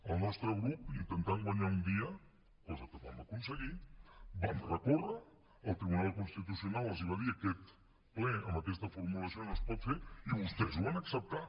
el nostre grup intentant guanyar un dia cosa que vam aconseguir vam recórrer el tribunal constitucional els va dir aquest ple amb aquesta formulació no es pot fer i vostès ho van acceptar